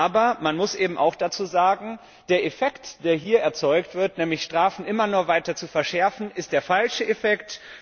Aber man muss eben auch dazusagen, der Effekt, der hier erzeugt wird, nämlich Strafen immer nur weiter zu verschärfen, ist der falsche Effekt.